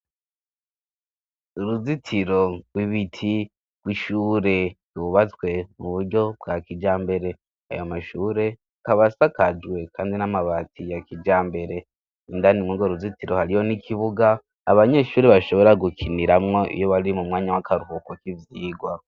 Uruzitiro rw'ibiti rw'ishure ryubatswe mu buryo bwa kijambere; ayo mashure akaba asakajwe kandi n'amabati ya kijambere. Indani mw'urwo ruzitiro hariho n'ikibuga abanyeshuri bashobora gukiniramwo iyo wari mu mwanya w'akaruhuko k'ivyigwa.